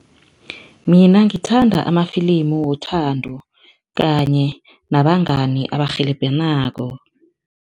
Mina ngithanda amafilimu wothando kanye nabangani abarhelebhanako.